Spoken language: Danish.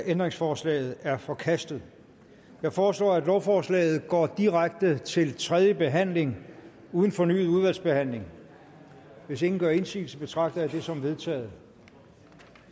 ændringsforslaget er forkastet jeg foreslår at lovforslaget går direkte til tredje behandling uden fornyet udvalgsbehandling hvis ingen gør indsigelse betragter jeg det som vedtaget